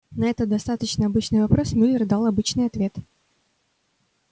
на этот достаточно обычный вопрос мюллер дал обычный ответ